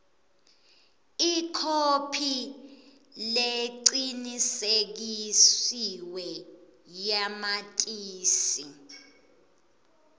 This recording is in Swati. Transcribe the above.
ikhophi lecinisekisiwe yamatisi